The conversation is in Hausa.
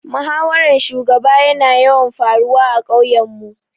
Muhawaran shugaba ya na yawan faruwa a ƙauyen mu